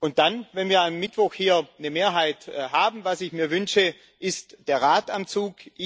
Und dann, wenn wir am Mittwoch hier eine Mehrheit haben was ich mir wünsche ist der Rat am Zug.